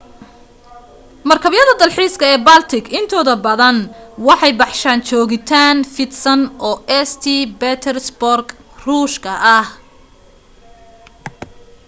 markabyada dalxiiska ee baltic intooda badan waxay baxshaan joogitaan fidsan oo st petersburg ruush ka ah